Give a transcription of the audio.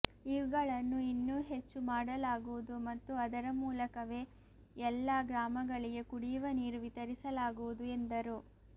ಇವುಗಳನ್ನು ಇನ್ನೂ ಹೆಚ್ಚು ಮಾಡಲಾಗುವುದು ಮತ್ತು ಅದರ ಮೂಲಕವೇ ಎಲ್ಲಾ ಗ್ರಾಮಗಳಿಗೆ ಕುಡಿಯುವ ನೀರು ವಿತರಿಸಲಾಗುವುದು ಎಂದರು